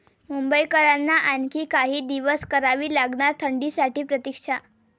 मुंबईकरांना आणखी काही दिवस करावी लागणार थंडीसाठी प्रतिक्षा